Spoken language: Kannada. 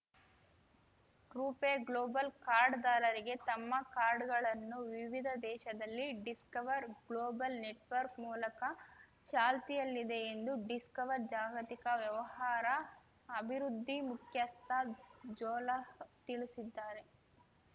ರೂಪೆ ಗ್ಲೋಬಲ್ ಕಾರ್ಡ್‌ದಾರರಿಗೆ ತಮ್ಮ ಕಾರ್ಡುಗಳನ್ನು ವಿವಿಧ ದೇಶಗಳಲ್ಲಿ ಡಿಸ್ಕವರ್ ಗ್ಲೋಬಲ್ ನೆಟ್‌ವರ್ಕ್ ಮೂಲಕ ಚಾಲ್ತಿಯಲ್ಲಿದೆ ಎಂದು ಡಿಸ್ಕವರ್ ಜಾಗತಿಕ ವ್ಯವಹಾರ ಅಭಿವೃದ್ಧಿ ಮುಖ್ಯಸ್ಥ ಜೋಹರ್ಲ್ ತಿಳಿಸಿದ್ದಾರೆ